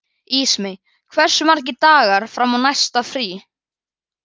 Ísmey, hversu margir dagar fram að næsta fríi?